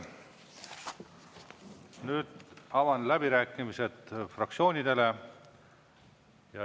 Nüüd avan läbirääkimised fraktsioonidele.